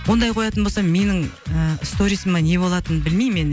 ондай қоятын болсам менің ы сторисиме не болатынын білмеймін енді